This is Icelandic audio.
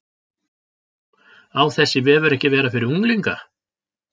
Á þessi vefur ekki að vera fyrir unglinga?